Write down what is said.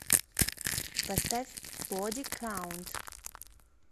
поставь боди каунт